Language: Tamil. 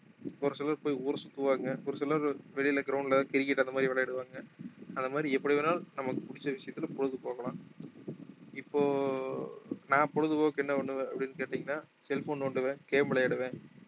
ஒரு சிலர் போய் ஊர் சுத்துவாங்க ஒரு சிலர் வெளியில ground ல cricket அந்த மாதிரி விளையாடுவாங்க அந்த மாதிரி எப்படி வேணாலும் நமக்கு பிடிச்ச விஷயத்துல பொழுது போக்கலாம் இப்போ நான் பொழுதுபோக்கு என்ன பண்ணுவேன் அப்படின்னு கேட்டீங்கன்னா cell phone நோண்டுவேன் game விளையாடுவேன்